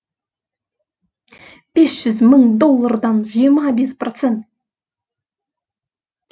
бес жүз мың доллардан жиырма бес процент